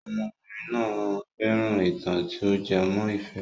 Ọmọbìnrin náà fẹ́ràn ìtàn tí o jẹ mọ́ ìfẹ́.